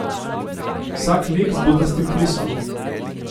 Vsak lik z butastim frisom.